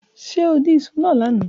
Ṣe o din iṣu naa lana?